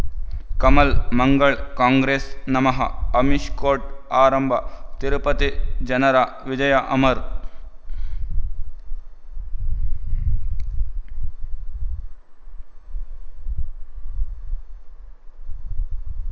Kamal Mangal Congress ನಮಃ Amish court ಆರಂಭ ತಿರುಪತಿ ಜನರ ವಿಜಯ ಅಮರ್